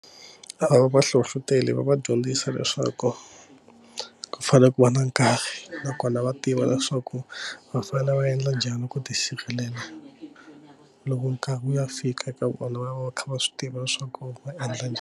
A va vahlohloteli va va dyondzisa leswaku ku fanele ku va na nkarhi nakona va tiva leswaku va fanele va endla njhani ku tisirhelela loko nkarhi wu ya fika eka vona va va va kha va swi tiva leswaku va endla njhani.